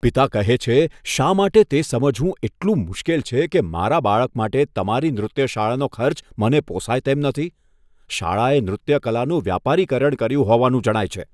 પિતા કહે છે, શા માટે તે સમજવું એટલું મુશ્કેલ છે કે મારા બાળક માટે તમારી નૃત્ય શાળાનો ખર્ચ મને પોસાય તેમ નથી? શાળાએ નૃત્ય કલાનું વ્યાપારીકરણ કર્યું હોવાનું જણાય છે.